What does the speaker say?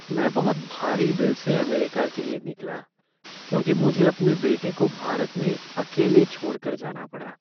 मैं बहुत भारी दिल से अमेरिका के लिए निकला क्योंकि मुझे अपने बेटे को भारत में अकेले छोड़ कर जाना पड़ा।